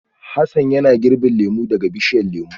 Hassan yana girbin lemu daga bishiyar lemu